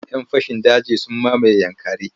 Yan fashin daji sun mamaye Yankari.